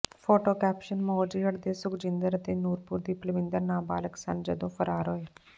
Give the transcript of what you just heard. photo caption Mojgarh ਦੇ ਸੁਖਜਿੰਦਰ ਅਤੇ ਨੂਰਪੁਰ ਦੀ ਪਲਵਿੰਦਰ ਨਾਬਾਲਗ ਸਨ ਜਦੋਂ ਫਰਾਰ ਹੋਏ